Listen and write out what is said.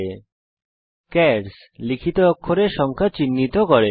চার্স - আপনার দ্বারা লিখিত অক্ষরের সংখ্যা চিহ্নিত করে